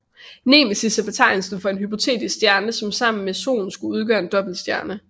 Nemesis er betegnelsen for en hypotetisk stjerne som sammen med Solen skulle udgøre en dobbeltstjerne